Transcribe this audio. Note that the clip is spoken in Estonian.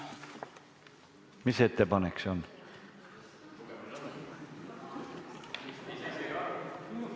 Mis ettepanek see on?